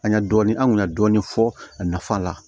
An ya dɔɔni an kun y'a dɔɔni fɔ a nafa la